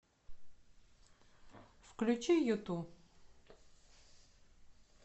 включи юту